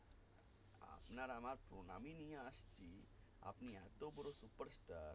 আপনার আমার প্রণামী নিয়ে আসছি আপনি এতো বোরো superstar